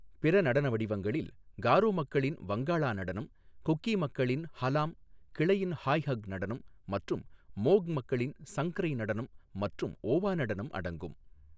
பிற நடன வடிவங்களில் காரோ மக்களின் வங்காளா நடனம், குக்கி மக்களின் ஹலாம் கிளையின் ஹாய் ஹக் நடனம் மற்றும் மோக் மக்களின் சங்க்ரை நடனம் மற்றும் ஓவா நடனம் அடங்கும்.